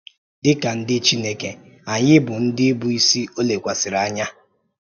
Dị ka ndị Chineke, anyị bụ ndị bụ́ isi o lekwasịrị anya.